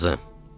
Qızım,